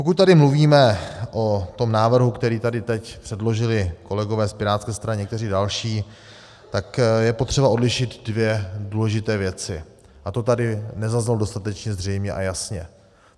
Pokud tady mluvíme o tom návrhu, který tady teď předložili kolegové z pirátské strany a někteří další, tak je třeba odlišit dvě důležité věci a to tady nezaznělo dostatečně zřejmě a jasně.